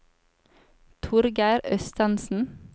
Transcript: Torgeir Østensen